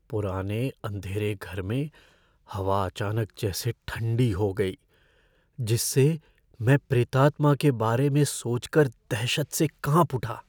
पुराने अंधेरे घर में हवा अचानक जैसे ठंडी हो गई, जिससे मैं प्रेतात्मा के बारे में सोचकर दहशत से काँप उठा।